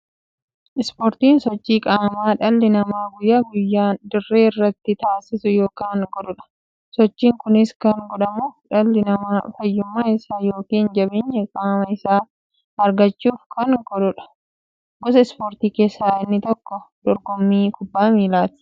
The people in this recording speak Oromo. Ispoortiin sochii qaamaa dhalli namaa guyyaa guyyaan dirree irratti taasisu yookiin godhuudha. Sochiin kunis kan godhamuuf, dhalli namaa fayyummaa isaa yookiin jabeenya qaama isaa argachuuf kan godhaniidha. Gosa ispoortii keessaa inni tokko dorgommii kubbaa milaati.